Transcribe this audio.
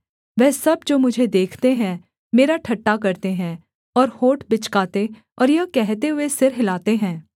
वह सब जो मुझे देखते हैं मेरा ठट्ठा करते हैं और होंठ बिचकाते और यह कहते हुए सिर हिलाते हैं